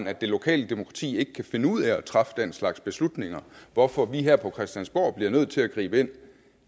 at det lokale demokrati ikke kan finde ud af at træffe den slags beslutninger hvorfor vi her på christiansborg bliver nødt til at gribe ind